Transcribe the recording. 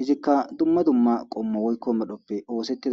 izikka dumma dumma qommo woykko medhoppe oosetida